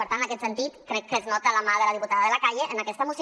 per tant en aquest sentit crec que es nota la mà de la diputada de la calle en aquesta moció